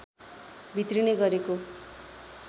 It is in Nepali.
भित्रिने गरेको